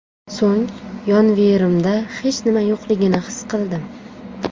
So‘ng yonverimda hech nima yo‘qligini his qildim.